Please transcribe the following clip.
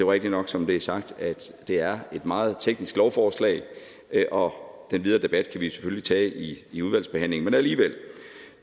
rigtigt nok som det er sagt at det er et meget teknisk lovforslag og den videre debat kan vi selvfølgelig tage i i udvalgsbehandlingen men alligevel